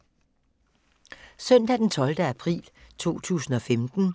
Søndag d. 12. april 2015